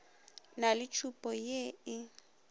na le tšhupa ye e